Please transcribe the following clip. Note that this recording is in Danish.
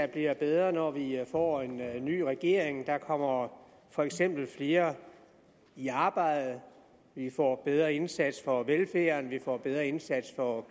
bliver bedre når vi får en ny regering der kommer for eksempel flere i arbejde vi får bedre indsats for velfærden vi får en bedre indsats for